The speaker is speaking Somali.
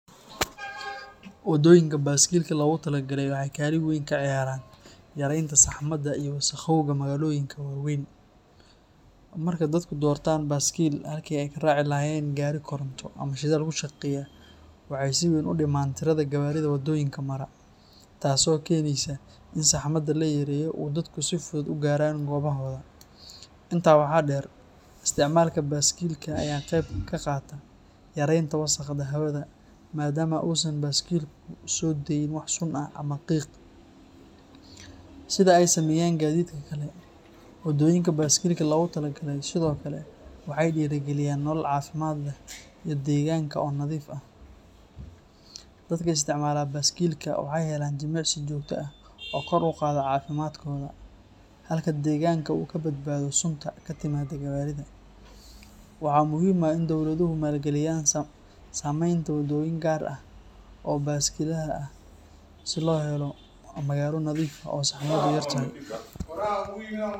Wadoyinka baskilka logatalagalay waxey kalin weyn kaciyaran yarenta sahmada iyo wasaqeynta magaloyinka waweyn, marki dadku dortan baskilka halki eyy karaci lahayen gari koront ama shidhal kushaqesha, waxey si weyn udiman tiroyinka gawaridha wadoyinka mara, taso keneysa inn sahmadha layareyo oo dadka si fudhud ugaran gobahodha, intaa waxa der isticmalka baskilka aya qeyb kaqata yarenta wasqda hawadha madama usan baskilka sodaynin wax qiq ahh ama sun, sidha eyy sameyan gadhidka kale, wadoyinka baskilka loga tala galay sidhokale waxey dira giliyan nolol cafimad leh ii deganka oo nadhif ahh, dadka isticmala baskilka waxey helan jimicsii jogta ahh oo kor uqadha cafimadkodha, halka deganka uu kabadbadho sunta katimado gawaridha, waxa muhim ahh inn dowladuhu malgiliyan sameynta wadoyin garr ahh oo baskilaha ahh si lohelo magala nadhif ahh oo sahamadhedu yartahay.